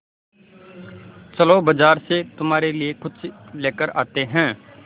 चलो बाज़ार से तुम्हारे लिए कुछ लेकर आते हैं